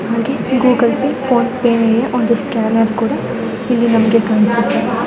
ನಮ್ಗೆ Google Pay PhonePe ಯಾ ಒಂದು ಸ್ಕ್ಯಾನರ್ ಕೂಡ ಇಲ್ಲಿ ನಮ್ಗೆ ಕಾಣ್ಸ್ತ ಇದೆ .